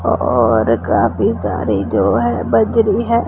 और काफी सारी जो है बजरी है।